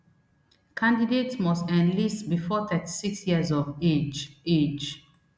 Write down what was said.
candidates must enlist before thirty-six years of age age